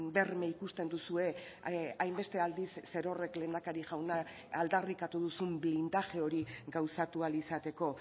berme ikusten duzue hainbeste aldiz zerorrek lehendakari jauna aldarrikatu duzun blindaje hori gauzatu ahal izateko